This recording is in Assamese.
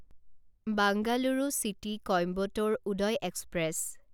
Bengaluru city Coimbatore Uday express